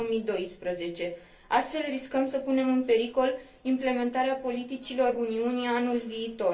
2012. Altfel, riscăm să punem în pericol implementarea politicilor Uniunii anul viitor.